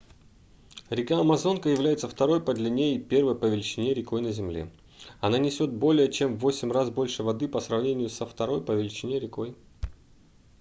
река амазонка является второй по длине и первой по величине рекой на земле она несёт более чем в 8 раз больше воды по сравнению со второй по величине рекой